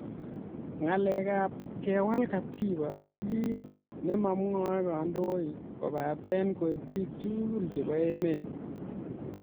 Ngalek ab kewal katiba ko ki nemamwoei kandoik kobate koek bik tugul chebo emet.